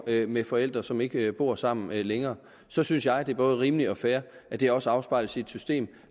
med forældre som ikke bor sammen længere så synes jeg det er både rimeligt og fair at det også afspejles i et system